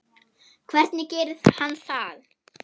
Hvernig gerir hann það?